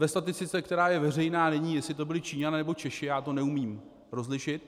Ve statistice, která je veřejná, není, jestli to byli Číňané, nebo Češi, já to neumím rozlišit.